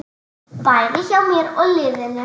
Bæði hjá mér og liðinu.